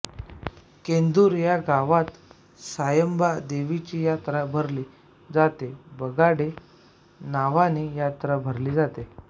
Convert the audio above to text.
केंदूर या गावात सायंबा देवाची यात्रा भरली जाते बगाडे नावानी यात्रा भरली जाते